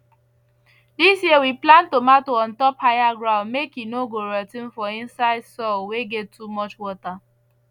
this year we plant tomato on top higher ground make e no go rot ten for inside soil wey get too much water